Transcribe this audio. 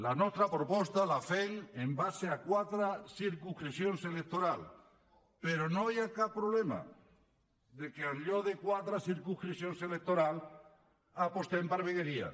la nostra proposta la fem en base a quatre circumscripcions electorals però no hi ha cap problema que en lloc de quatre circumscripcions electorals apostem per vegueries